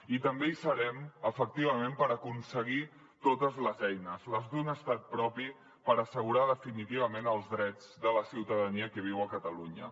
i també hi serem efectivament per aconseguir totes les eines les d’un estat propi per assegurar definitivament els drets de la ciutadania que viu a catalunya